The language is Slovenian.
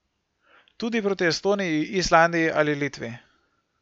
Tudi proti Estoniji, Islandiji ali Litvi.